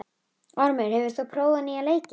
Ormur, hefur þú prófað nýja leikinn?